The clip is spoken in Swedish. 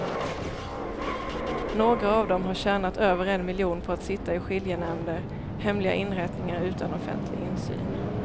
Några av dem har tjänat över en miljon på att sitta i skiljenämnder, hemliga inrättningar utan offentlig insyn.